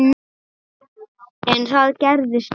En það gerðist núna.